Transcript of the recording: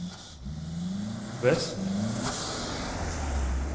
väst